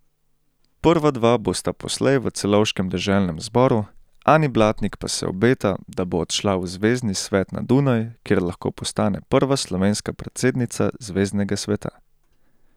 Prva dva bosta poslej v celovškem deželnem zboru, Ani Blatnik pa se obeta, da bo odšla v zvezni svet na Dunaj, kjer lahko postane prva slovenska predsednica zveznega sveta.